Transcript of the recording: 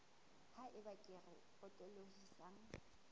ha eba kere e potolohisang